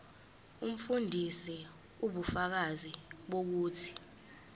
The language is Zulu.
umfundisi ubufakazi bokuthi